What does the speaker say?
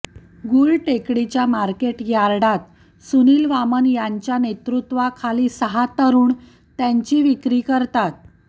गुलटेकडीच्या market यार्डात सुनील वामन यांच्या नेतृत्वाखाली सहा तरुण त्यांची विक्री करतात